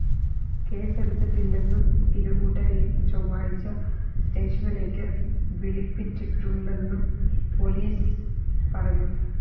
കേസെടുത്തിട്ടില്ലെന്നും ഇരുകൂട്ടരെയും ചൊവ്വാഴ്ച സ്‌റ്റേഷനിലേക്ക് വിളിപ്പിച്ചിട്ടുണ്ടെന്നും പൊലീസ് പറഞ്ഞു